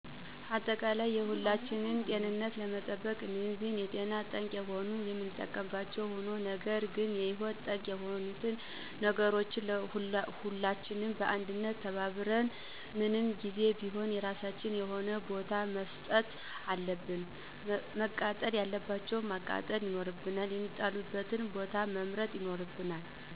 አጠቃላይ የሁላችንን ጤንነት ለመጠበቅ እነዚህን ለጤና ጠንቅ የሆኑ የምንጠቀምባቸዉ ሆኖ ነገር ግን ለህይወት ጠንቅ የሆኑትን ችግሮች ሁላችንም በአንድነት ተባብረን <ምን ጊዜም ቢሆን የራሳቸዉ የሆነ ቦታ>መስጠት አለብን። መቃጠል ያለባቸዉን ማቃጠል ይኖርብናል፣ የሚጣሉበትን ቦታ መምረጥ ይኖርብናል